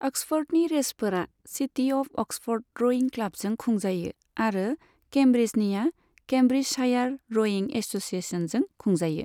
अक्सफ'र्डनि रेसफोरा city of Oxford रयिं क्लाबजों खुंजायो आरो केम्ब्रिजनिया केम्ब्रिजशायार रयिं एससिएशनजों खुंजायो।